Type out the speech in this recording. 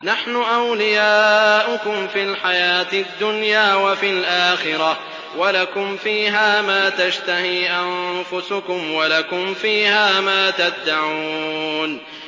نَحْنُ أَوْلِيَاؤُكُمْ فِي الْحَيَاةِ الدُّنْيَا وَفِي الْآخِرَةِ ۖ وَلَكُمْ فِيهَا مَا تَشْتَهِي أَنفُسُكُمْ وَلَكُمْ فِيهَا مَا تَدَّعُونَ